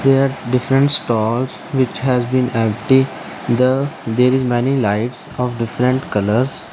here different stalls which has been empty the there is many lights of different colours.